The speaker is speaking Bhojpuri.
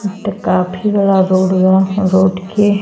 ई त काफी बड़ा रोड बा। रोड के --